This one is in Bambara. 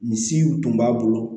Misiw tun b'a bolo